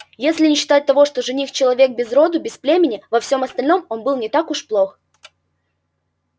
если не считать того что жених-человек без роду без племени во всём остальном он был не так уж плох